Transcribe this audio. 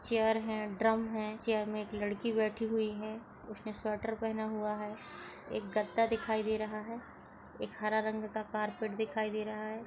Chair है drum है chair मे एक लड़की बैठी हुई है उसने स्वेटर पहना हुआ है एक गद्दा दिखाई दे रहा है एक हरा रंग का कार्पेट दिखाई दे रहा है।